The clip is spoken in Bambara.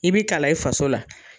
I bi kalan i faso la.